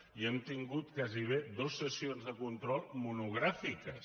i hem tingut gairebé dues sessions de control monogràfiques